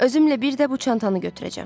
Özümlə bir də bu çantanı götürəcəm.